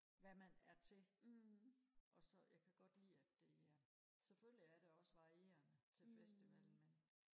hvad man er til og så jeg kan godt lide at det er selvfølgelig er det også varierende til festivallen ikke